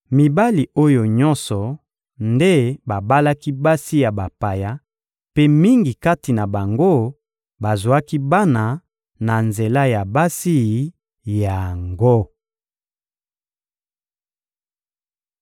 Mibali oyo nyonso nde babalaki basi ya bapaya, mpe mingi kati na bango bazwaki bana na nzela ya basi yango.